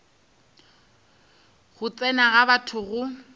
go tsena ga batho go